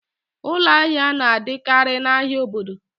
Ụlọ ahịa na-adịkarị n'ahia obodo